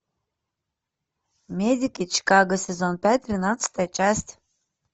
медики чикаго сезон пять тринадцатая часть